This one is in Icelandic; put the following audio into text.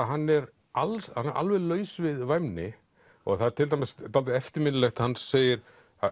hann er alveg alveg laus við væmni það er til dæmis dálítið eftirminnilegt að hann segir